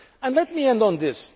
to come. Let me end